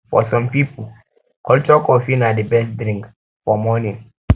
for um some pipo culture coffee na di best drink for morning